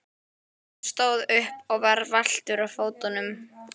Hann stóð upp og var valtur á fótunum.